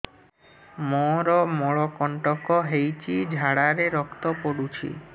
ମୋରୋ ମଳକଣ୍ଟକ ହେଇଚି ଝାଡ଼ାରେ ରକ୍ତ ପଡୁଛି